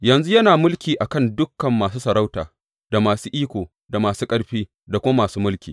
Yanzu yana mulki a kan dukan masu sarauta, da masu iko, da masu ƙarfi, da kuma masu mulki.